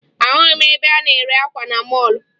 Ahụghị m ebe a na-ere akwa na mọọlụ